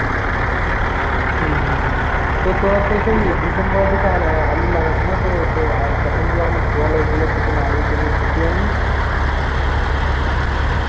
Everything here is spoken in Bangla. হম হম তো তরা তো সেই December এর দিকে আর আলু লাগাসনা তো তো আর তখন যে অনেক জল হয়েছিল তখন আলুর কোনো ক্ষতি হয়েনি?